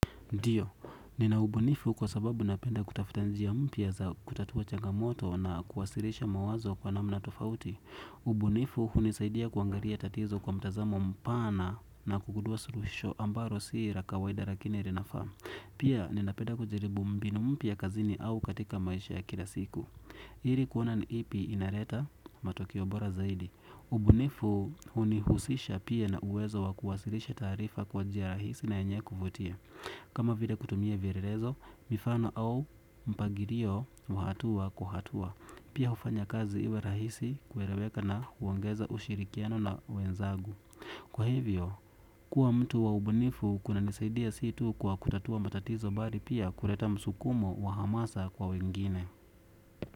Ndiyo, nina ubunifu kwa sababu napenda kutafuta njia mpya za kutatua changamoto na kuwasilisha mawazo kwa namna tofauti. Ubunifu hunisaidia kuangalia tatizo kwa mtazamo mpana na kugundua suluhisho ambalo si la kawaida lakini linafaa. Pia, ninapenda kujaribu mambo mapya kazini au katika maisha ya kila siku. Ili kuona ni ipi inaleta matokeo bora zaidi. Ubunifu hunihusisha pia na uwezo wa kuwasilisha taarifa kwa njia rahisi na yenye kuvutia. Kama vile kutumia vielelezo, mifano au mpangilio wa hatua kwa hatua. Pia hufanya kazi iwe rahisi kueleweka na huongeza ushirikiano na wenzangu. Kwa hivyo, kuwa mtu wa ubunifu kunanisaidia si tu kwa kutatua matatizo, bali pia kuleta msukumo wa hamasa kwa wengine.